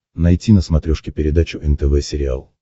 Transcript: найти на смотрешке передачу нтв сериал